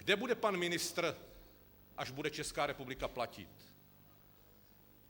Kde bude pan ministr, až bude Česká republika platit?